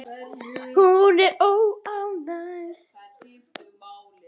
Hún er óánægð.